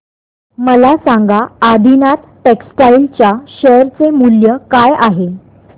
मला सांगा आदिनाथ टेक्स्टटाइल च्या शेअर चे मूल्य काय आहे